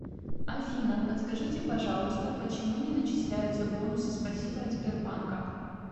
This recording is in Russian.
афина подскажите пожалуйста почему не начисляются бонусы спасибо от сбербанка